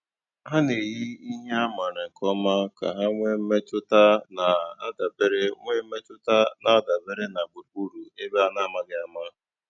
Ha na-èyì ihe a mààra nkè ọ̀ma kà ha nwéé mmètụ́tà na-àdabèrè nwéé mmètụ́tà na-àdabèrè na gbùrùgbùrù ébè a na-àmàghị́ àma.